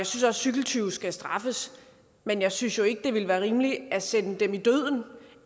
synes at cykeltyve skal straffes men jeg synes jo ikke det ville være rimeligt at sende dem i døden